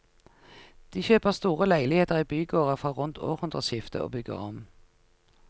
De kjøper store leiligheter i bygårder fra rundt århundreskiftet og bygger om.